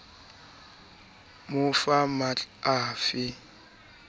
mo fa matl a fe